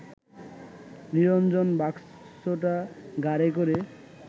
নিরঞ্জন বাক্সটা ঘাড়ে করে